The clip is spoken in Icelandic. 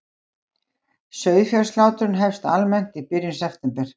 Sauðfjárslátrun hefst almennt í byrjun september